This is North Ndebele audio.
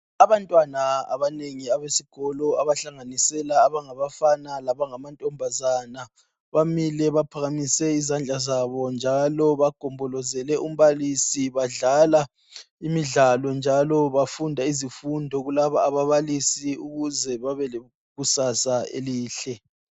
Abantwana abanengi abesikolo abahlanganisela angabafana labangamantombazana bamile baphakamise izandla zabo njalo bagombozelele umbalisi badlala imidlalo njalo bafunda izifundo kulaba ababalisi ukuze babe lekusasa elihle.